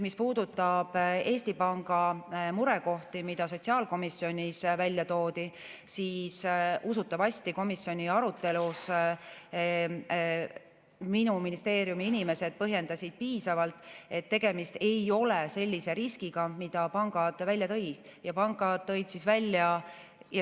Mis puudutab Eesti Panga murekohti, mida sotsiaalkomisjonis välja toodi, siis usutavasti komisjoni arutelus minu ministeeriumi inimesed põhjendasid piisavalt, et tegemist ei ole sellise riskiga, mida pangad välja tõid.